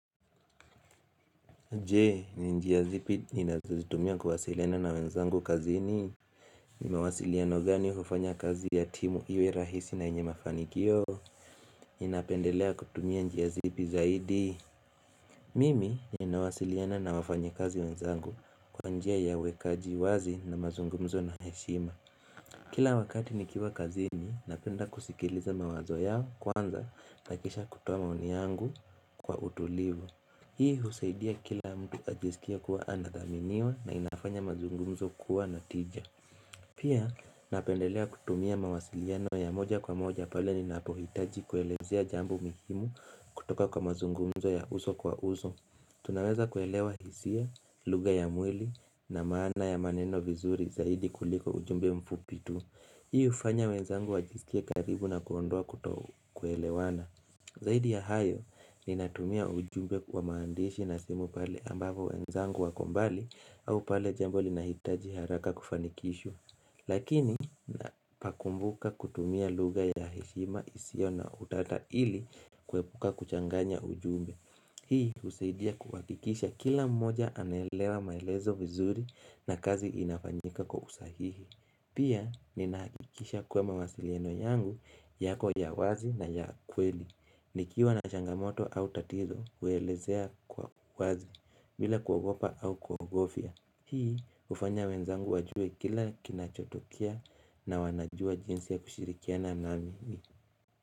Jee, ni njia zipi ninazozitumia kuwasiliana na wenzangu kazini. Nin mawasiliano gani hufanya kazi ya timu iwe rahisi na yenye mafanikio? Ninapendelea kutumia njia zipi zaidi? Mimi ninawasiliana na wafanyikazi wenzangu kwa njia ya uwekaji wazi na mazungumzo na heshima. Kila wakati nikiwa kazini, napenda kusikiliza mawazo ya kwanza na kisha kutoa maoni yangu kwa utulivu. Hii husaidia kila mtu ajisikie kuwa anadhaminiwa na inafanya mazungumzo kuwa na tija. Pia napendelea kutumia mawasiliano ya moja kwa moja pale ninapohitaji kuelezea jambo muhimu kutoka kwa mazungumzo ya uso kwa uso. Tunaweza kuelewa hisia, luga ya mwili na maana ya maneno vizuri zaidi kuliko ujumbe mfupi tu. Hii ufanya wenzangu wajiskie karibu na kuondoa kuto kuelewana. Zaidi ya hayo, ninatumia ujumbe wa maandishi na simu pale ambapo wenzangu wako mbali au pale jambo linahitaji haraka kufanikishwa Lakini pakumbuka kutumia lugha ya heshima isio na utata ili kuepuka kuchanganya ujumbe Hii husaidia kuhakikisha kila mmoja anaelewa maelezo vizuri na kazi inafanyika kwa usahihi Pia ninahakikisha kuwa mawasiliano yangu yako ya wazi na ya kweli nikiwa na changamoto au tatizo uelezea kwa wazi bila kuagopa au kuogofia Hii hufanya wenzangu wajue kile kinachotokea na wanajua jinsi ya kushirikiana nami.